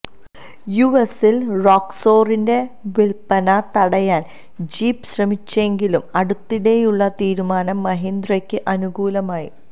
യുഎസിൽ റോക്സോറിന്റെ വിൽപ്പന തടയാൻ ജീപ്പ് ശ്രമിച്ചെങ്കിലും അടുത്തിടെയുള്ള തീരുമാനം മഹീന്ദ്രയ്ക്ക് അനുകൂലമായി